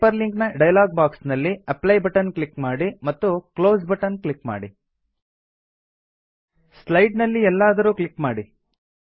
hyperlink ನ dialogue box ನಲ್ಲಿ apply button click ಮಾಡಿ ಮತ್ತು ಕ್ಲೋಸ್ ಬಟನ್ ಕ್ಲಿಕ್ ಮಾಡಿ ಸ್ಲೈಡ್ ನಲ್ಲಿ ಎಲ್ಲಾದರೂ ಕ್ಲಿಕ್ ಮಾಡಿ